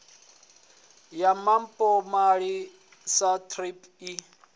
ya mpomali sa thrip i